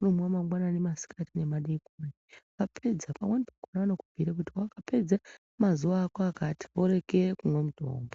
Ukaumwa mangwanani, masikati nemadeikoni wapedza pamweni pakhona vanokubhira kuti wapedza mazuwa akati woregera kumwa mutombo.